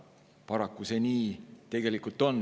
Paraku nii see tegelikult on.